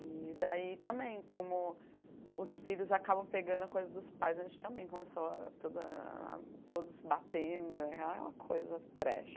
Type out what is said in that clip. E daí também, como os filhos acabam pegando a coisa dos pais, a gente também começou a toda a todos batendo, aquela coisa trash.